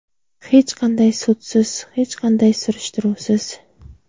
Hech qanday sudsiz, hech qanday surishtiruvsiz.